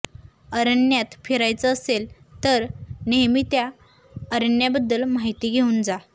अरण्यात फिरायचं असेल तर नेहमी त्या अरण्याबद्दल माहिती घेऊन जा